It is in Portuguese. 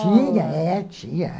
Tinha, é, tinha.